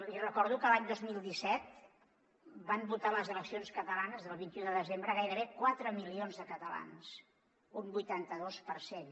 li recordo que l’any dos mil disset van votar en les eleccions catalanes del vint un de desembre gairebé quatre milions de catalans un vuitanta dos per cent